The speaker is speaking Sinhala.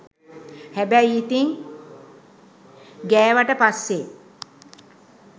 හැබැයි ඉතින් ගෑවට පස්සේ